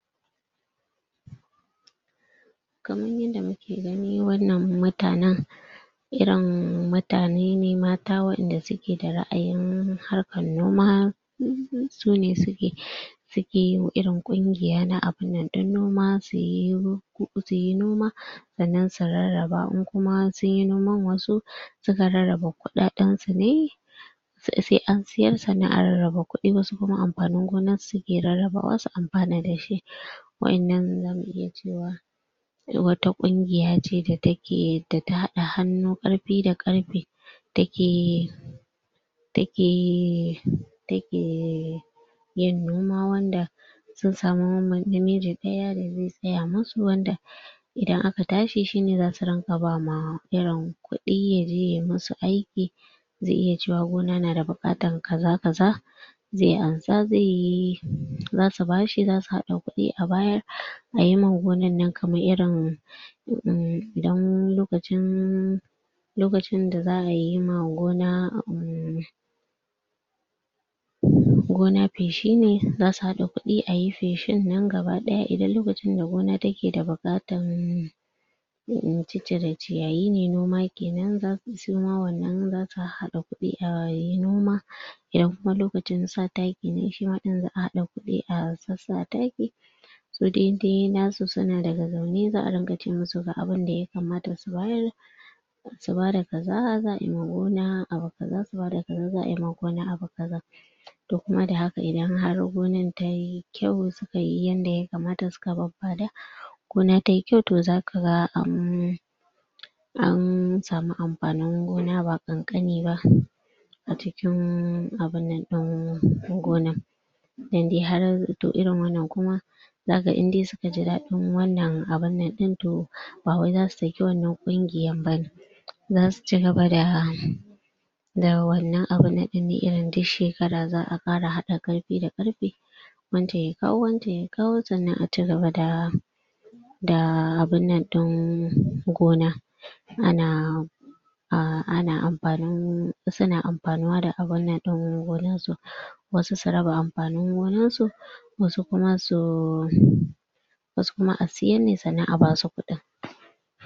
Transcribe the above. Kaman yanda muke gani wannan mutanen irin mutane ne mata waƴanda suke da ra'ayin harkar noma. hum hum sune suke suke irin ƙungiya irin na abun nan ɗin noma suyi ru suyi huɗu suyi noma sannan su rarraba in kuma sunyi noman wasu suka rarraba kuɗaɗen su ne sai an siyar sannan a rarraba kuɗi wasu kuma amfanin gonar suke rarrabawa su amfana da shi. Waƴannan za mu iya cewa su wata ƙungiya ce da take da ta haɗa hannu ƙarfi da ƙarfe take take take yin noma wanda sun samu namiji ɗaya da zai tsaya musu wanda idan aka tashi shi ne za su riƙa ba ma irin kuɗi yaje yayi musu aiki. Zai iya cewa gona na da buƙatan kaza-kaza zai ansa zai, za su ba shi, za su haɗa kuɗi su bayar ayi ma gonan nan kamar irin uhm idan lokacin lokacin da za'a yi ma gona uumm gona feshi ne, za su haɗa kuɗi ayi feshin nan gaba ɗaya idan lokacin da gona take da buƙatar in ciccire ciyayi ne noma kenan za su shi ma wannan za su hahhaɗa kuɗi ayi noma. Idan kuma lokacin sa taki ne shi ma ɗin za'a haɗa kuɗi a sassa taki. Su dai dai nasu su na daga zaune za'a ringa ce musu ga abinda ya kamata su bayar. Su ba da kaza za'a yima gona abu kaza, su ba da kaza za'a yima gona abu kaza. To kuma da haka idan har gonar tayi kyau suka yi yanda ya kamata su babbada gona tayi kyau to za ka ga an an samu amfanin gona ba ƙanƙani ba, a cikin abun nan ɗin gonar. Idan har to irin wannan kuma za ka inde suka ji daɗin wannan abun to ba wai za su saki wannan ƙungiyar bane. Za su cigaba da da wannan abu na irin ɗin duk shekara za'a ƙara haɗa ƙarfi da ƙarfe wancan ya kawo wancan ya kawo sannan a cigaba da da abun nan ɗin gona a na a ana amafanin su na amfanuwa da abun nan ɗin gonar su wasu su raba amfanin gonar su wasu kuma su wasu kuma a siyar ne sannan a basu kuɗi.